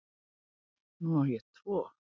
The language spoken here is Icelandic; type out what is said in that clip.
Nú á ég tvo